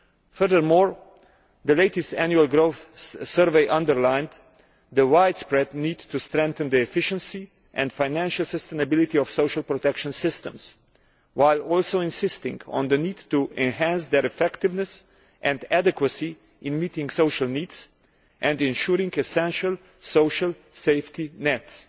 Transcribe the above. Furthermore, the latest Annual Growth Survey underlined the widespread need to strengthen the efficiency and financial sustainability of social protection systems, while also insisting on the need to enhance their effectiveness and adequacy in meeting social needs and ensuring essential social safety nets.